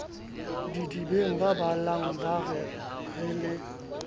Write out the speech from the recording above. didibeng babalang ba re le